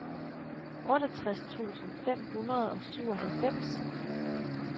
otteogtres tusind fem hundrede og syvoghalvfems